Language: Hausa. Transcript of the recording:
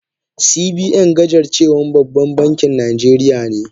CBN gajarcewan baban bankin najeriya ne.